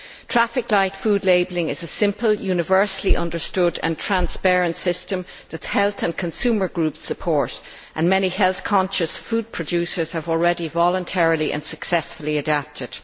Traffic light food labelling is a simple, universally understood and transparent system that health and consumer groups support and many health conscious food producers have already voluntarily and successfully adapted.